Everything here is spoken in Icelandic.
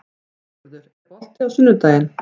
Sigurður, er bolti á sunnudaginn?